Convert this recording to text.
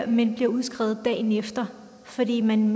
men bliver udskrevet dagen efter fordi man